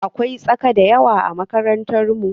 Akwai tsaka da yawa a makarantar mu.